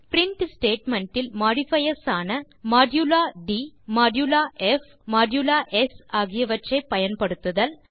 print statement இல் modifiers ஆன modulo d modulo f modulo s ஆகியவற்றை பயன்படுத்துதல்